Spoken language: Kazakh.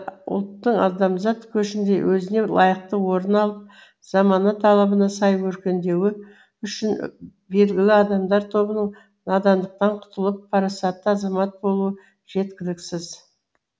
ұлттың адамзат көшінде өзіне лайықты орын алып замана талабына сай өркендеуі үшін белгілі адамдар тобының надандықтан құтылып парасатты азамат болуы жеткіліксіз